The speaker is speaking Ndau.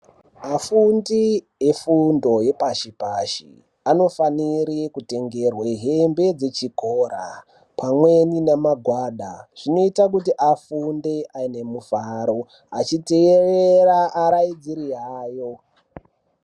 Afundi efundo yepashipashi anofanire kutengerwe hembe dzechikora, pamweni namagwada. Zvinoita kuti afunde aine mufaro achiteerera arairidzi ayo.